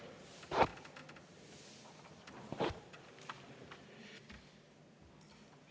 Aitäh!